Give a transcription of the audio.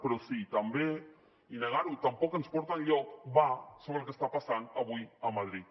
però sí també i negar ho tampoc ens porta enlloc va sobre el que està passant avui a madrid